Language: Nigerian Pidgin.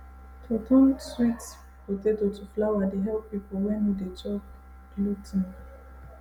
to turn sweet potato to flour dey help people wey no dey chop glu ten